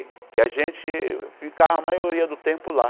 Que a gente ficava a maioria do tempo lá.